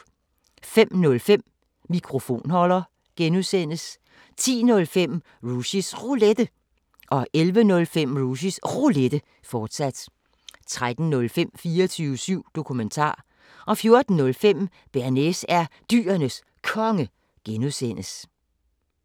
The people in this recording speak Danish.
05:05: Mikrofonholder (G) 10:05: Rushys Roulette 11:05: Rushys Roulette, fortsat 13:05: 24syv Dokumentar 14:05: Bearnaise er Dyrenes Konge (G)